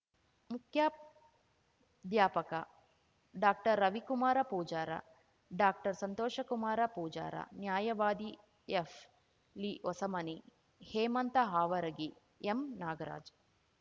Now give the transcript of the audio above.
ಮುಖ್ಯಾಧ್ಯಾಪಕ doctor Ravikumar Pujar ಡಾಕ್ಟರ್ಸಂತೋಷಕುಮಾರ ಪೂಜಾರ ನ್ಯಾಯವಾದಿ ಎಫ್ಲಿ ಹೊಸಮನಿ ಹೇಮಂತ ಹಾವರಗಿ ಎಂನಾಗರಾಜ